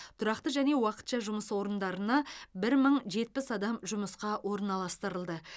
тұрақты және уақытша жұмыс орындарына бір мың жетпіс адам жұмысқа орналастырылды